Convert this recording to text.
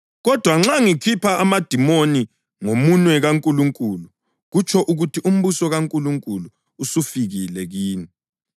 Kodwa nxa ngikhupha amadimoni ngomunwe kaNkulunkulu, kutsho ukuthi umbuso kaNkulunkulu usufikile kini.